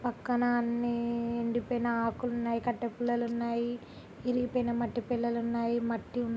పక్కన అన్ని ఎండిపోయిన ఆకులు ఉన్నాయి .కట్టే పుల్లలు ఉన్నాయి. ఇరిగిపోయిన మట్టి బిళ్ళలు ఉన్నాయి. మట్టి ఉమ్మ్--